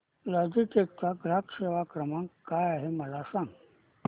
Logitech चा ग्राहक सेवा क्रमांक काय आहे मला सांगा